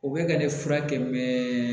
U bɛ ka ne furakɛ mɛ